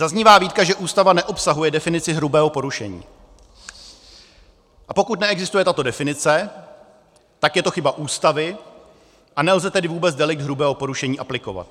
Zaznívá výtka, že Ústava neobsahuje definici hrubého porušení, a pokud neexistuje tato definice, tak je to chyba Ústavy, a nelze tedy vůbec delikt hrubého porušení aplikovat.